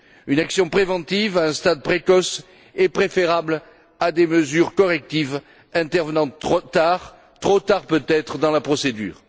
Une action préventive à un stade précoce est préférable à des mesures correctives intervenant tard, trop tard, peut être, dans la procédure.